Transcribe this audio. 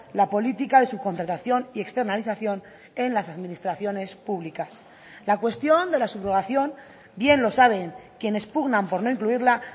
la política de subcontratación y externalización en las administraciones públicas la cuestión de la subrogación bien los saben quienes pugnan por no incluirla